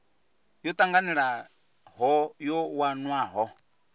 yo tanganelaho yo wanwaho u